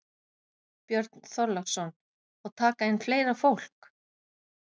Björn Þorláksson: Og taka inn fleira fólk?